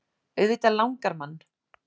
Auðvitað langar mann.